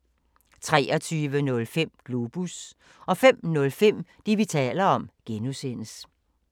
23:05: Globus 05:05: Det, vi taler om (G)